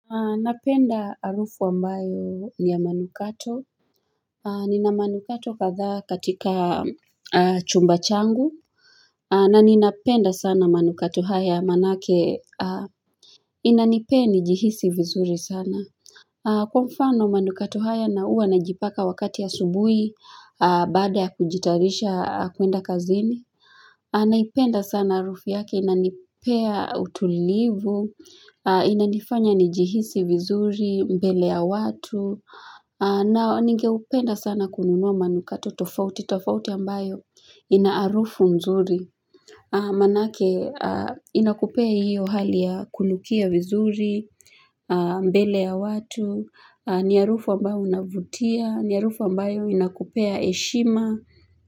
Napenda arufu ambayo ni ya manukato. Nina manukato kadhaa katika chumba changu. Na ninapenda sana manukato haya manake inanipea nijihisi vizuri sana. Kwa mfano manukato haya na huwa najipaka wakati ya asubuhi baada ya kujitayarisha kuenda kazini. Naipenda sana harufu yake inanipea utulivu, inanifanya nijihisi vizuri mbele ya watu na ningeupenda sana kununua manukato tofauti, tofauti ambayo ina harufu mzuri Manake inakupea hiyo hali ya kunukia vizuri, mbele ya watu, ni harufu ambayo unavutia, ni harufu ambayo inakupea heshima.